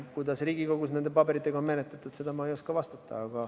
Kuidas Riigikogus neid pabereid on menetletud, seda ma ei oska vastata.